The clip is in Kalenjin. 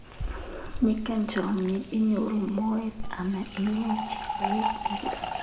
Ngiyai chomyet inyoru moet anan iyai chi koek nyikis.